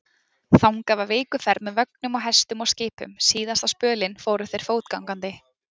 Þangað var vikuferð með vögnum og hestum og skipum, síðasta spölinn fóru þeir fótgangandi.